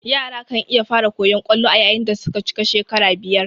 Yara kan iya fara koyan kwallo ayayin dasuka cika shekara biyar